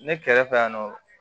Ne kɛrɛfɛ yan nɔ